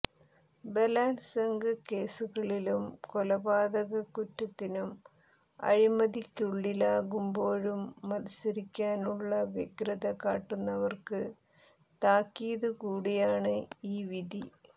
ബലാത്സംഗ കേസുകളിലും കൊലപാതക കുറ്റത്തിനും അഴികള്ക്കുള്ളിലാകുമ്പോഴും മത്സരിക്കാനുള്ള വ്യഗ്രത കാട്ടുന്നവര്ക്ക് താക്കീതു കൂടിയാണ് ഈ വിധി